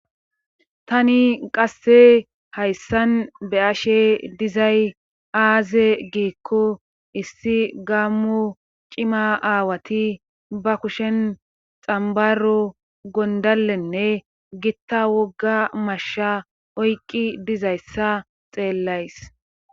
tani qasse hayssan be'ashe dizay aaze giikko issi gaammo cima aawati ba kushen xambaro gondalenne gitta wogga masha oyqqi dizayssa xeellays